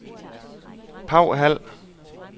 Paw Hald